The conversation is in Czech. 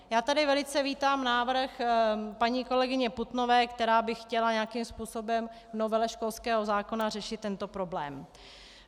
Já tady velice vítám návrh paní kolegyně Putnové, která by chtěla nějakým způsobem v novele školského zákona řešit tento problém.